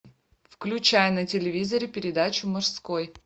включай на телевизоре передачу мужской